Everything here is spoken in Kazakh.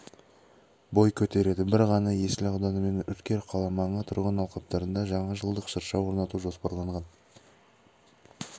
бой көтереді бір ғана есіл ауданы мен үркер қаламаңы тұрғын алқаптарында жаңажылдық шырша орнату жоспарланған